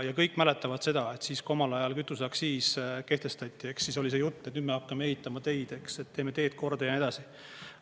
Ja kõik mäletavad seda, et kui omal ajal kütuseaktsiis kehtestati, siis oli see jutt, et nüüd me hakkame ehitama teid, teeme teed korda ja nii edasi.